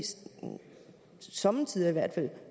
somme tider i hvert fald